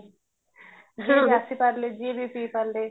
ଯୋଉଠୁ ଆସିପାରିଲେ ଯିଏବି ପିଇପାରିଲେ